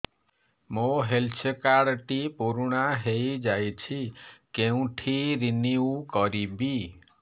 ମୋ health card ଟି ପୁରୁଣା ହେଇଯାଇଛି କେଉଁଠି ରିନିଉ କରିବି